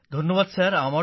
ধন্যবাদ স্যার